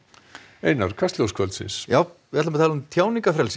við ætlum að tala um tjáningarfrelsi